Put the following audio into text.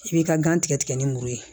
I b'i ka gan tigɛ tigɛ ni muru ye